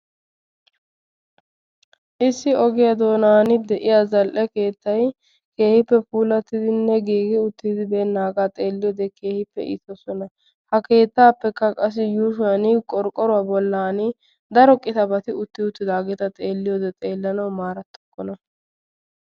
Issi ogiya doonani de"iya za"lee keettay keehipe puulattinne giigiuttibenage keehipe iitesi ha keettapeka bola baga qorqoruwani daro qitabati de"iyageti xeelanaw daro injetokona.